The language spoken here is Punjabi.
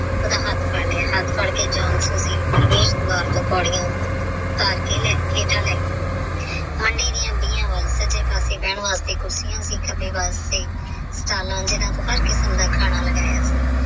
ਉਹਦਾ ਹੱਥ ਫੜ ਲਿਆ ਹੱਥ ਫੜ ਕੇ John ਪੌੜੀਆਂ ਉੱਤਰ ਕੇ ਹੇਠਾਂ ਲੈ ਗਿਆ ਮੰਡੀ ਦੀਆ ਵੱਲ ਸਾਜੇ ਪਾਸੇ ਬੇਨ ਵਾਸਤੇ ਕੁਸਰੀਆਂ ਸੀ ਖੱਬੇ ਪਾਸੇ ਸਟਾਲਾਂ ਤੇ ਹਰ ਕਿਸਮ ਦਾ ਖਾਣਾ ਲੱਗਿਆ ਸੀ।